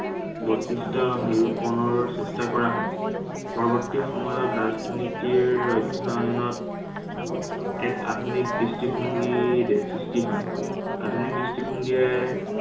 বৈশিষ্ট্য় ৰূপনৰ চেষ্টা কৰা হয়। পৰৱৰ্তী সময়ত ৰাজনীতিৰ অধ্য়য়ণত এক আধুনিক দৃষ্টিভংগীৰ সৃষ্টি হয়। আধুনিক দৃষ্টিভংগীয়ে